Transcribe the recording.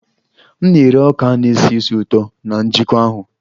M na-ere ọka a na-esi ísì ụtọ na njikọ ahụ